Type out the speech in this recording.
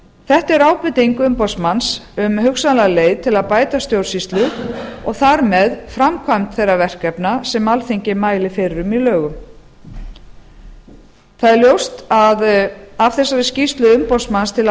þetta er ábending umboðsmanns um hugsanlega leið til að bæta stjórnsýslu og þar með framkvæmd þeirra verkefna sem alþingi mælir fyrir um í lögum það er ljóst að af þessari skýrslu umboðsmanns til